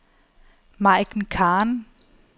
Maiken Khan